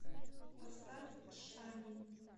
поставь шами